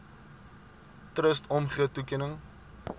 trust omgee toekenning